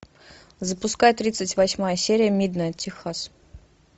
запускай тридцать восьмая серия миднайт техас